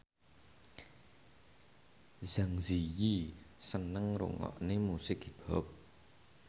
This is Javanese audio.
Zang Zi Yi seneng ngrungokne musik hip hop